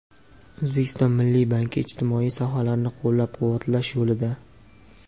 O‘zbekiston Milliy banki ijtimoiy sohalarni qo‘llab-quvvatlash yo‘lida.